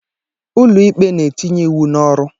Ụlọ ikpe na-etinye iwu n'ọrụ.